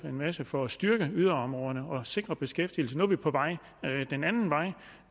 en masse for at styrke yderområderne og sikre beskæftigelse nu er vi på vej den anden vej